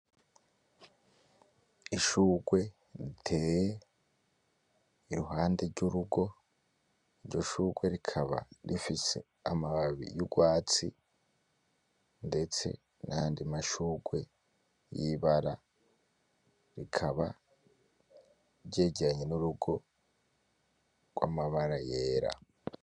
Ishurwe riteye iruhande ry'urugo, iryo shurwe rikaba rifise amababi y'urwatsi ndetse nayandi mashurwe y'ibara, rikaba ryegeranye n'urugo rw'amabara yera.